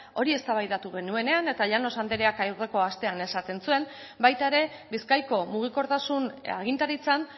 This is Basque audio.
hori eztabaidatu genuenean eta llanos andreak aurreko astean esaten zuen baita ere bizkaiko mugikortasun agintaritzan